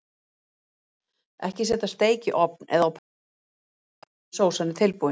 Ekki setja steik í ofn eða á pönnu aftur fyrr en sósan er tilbúin.